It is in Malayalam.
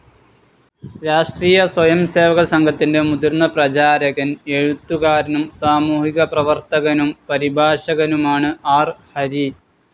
രാഷ്ട്രീയ സ്വയംസേവക സംഘത്തിൻ്റെ മുതിർന്ന പ്രചാരകൻ, എഴുത്തുകാരനും, സാമൂഹിക പ്രേവർത്തകനും, പരിഭാഷകനുമാണ് ആർ ഹരി.